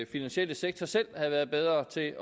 finansielle sektor selv havde været bedre til